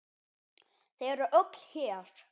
Þau eru öll hér.